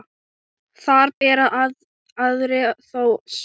Þar bera aðrir þó sök.